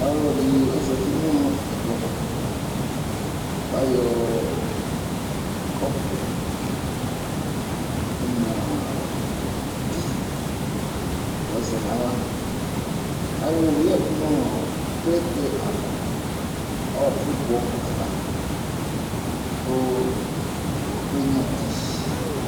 Ɔlɔdɩ ozati nʋ ɛkplɔɛtʋ ,k'ayɔ kɔpʋ onyuǝ ɔ ti yɔzɛ n'aɣla ,kayʋwɔɛ yǝdu ʋ'ɔɔ plɛtɛ ava ,ɔɔkʋgbɔ ava ,k'okenyuǝ ti